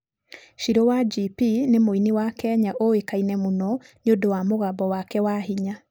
Shirũ wa GP nĩ mũini wa Kenya ũĩkaine mũno nĩ ũndũ wa mũgambo wake wa hinya.